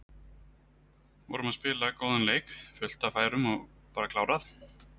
Vorum að spila góðan leik, fullt af færum og bara klárað.